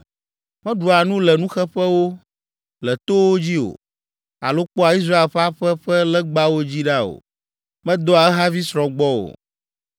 “Meɖua nu le nuxeƒewo, le towo dzi o, alo kpɔa Israel ƒe aƒe ƒe legbawo dzi ɖa o. Medɔa ehavi srɔ̃ gbɔ o.